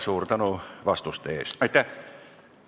Suur tänu vastuste eest!